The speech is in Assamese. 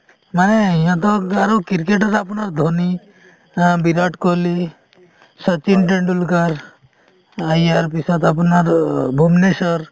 নাই ইহঁতক আৰু ক্ৰিকেটত আপোনাৰ ধোনি অ বিৰাট কোহলী , শচীন তেণ্ডুলকাৰ ইয়াৰ পিছত আপোনাৰ ভুবনেশ্বৰ